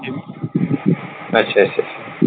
ਅੱਛਾ ਅੱਛਾ ਅੱਛਾ।